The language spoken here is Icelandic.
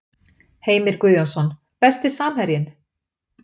Heimir Guðjónsson Besti samherjinn?